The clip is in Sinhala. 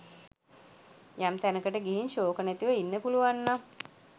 යම් තැනකට ගිහින් ශෝක නැතිව ඉන්න පුළුවන්නම්